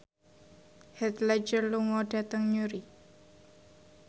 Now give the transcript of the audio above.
Heath Ledger lunga dhateng Newry